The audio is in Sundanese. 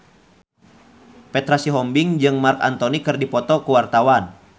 Petra Sihombing jeung Marc Anthony keur dipoto ku wartawan